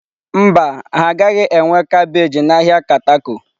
Mba, ha agaghị enwe kabeeji na ahịa Katako.